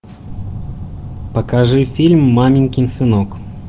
покажи фильм маменькин сынок